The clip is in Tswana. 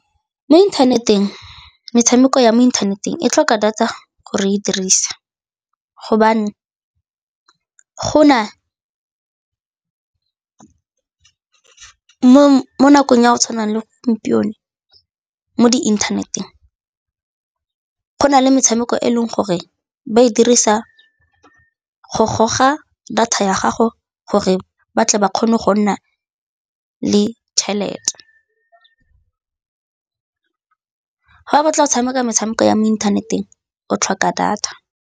Mo inthaneteng, metshameko ya mo inthaneteng e tlhoka data gore e dirisa gobane mo nakong ya go tshwana le gompieno mo diinthaneteng go na le metshameko e leng gore ba e dirisa go goga data ya gago gore ba tle ba kgone go nna le tšhelete. Ga o batla go tshameka metshameko ya mo inthaneteng o tlhoka data.